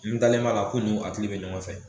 N ntalen m'a la k'u ni a tigi bɛ ɲɔgɔn fɛ